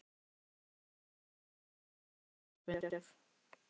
Æ, það er svo sem ekkert merkilegur fundur.